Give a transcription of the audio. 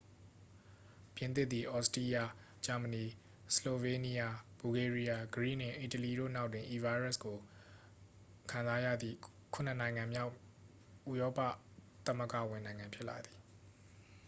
ပြင်သစ်သည် သြစတြီးယား ဂျာမဏီ ဆလိုဗေးနီးယား ဘူလ်ဂေးရီးယား ဂရိနှင့် အီတလီတို့နောက်တွင် ဤဗိုင်းရပ်ကို ခံစားရသည့် ခုနစ်နိုင်ငံမြောက် ဥရောပသမဂ္ဂဝင်နိုင်ငံ ဖြစ်သည်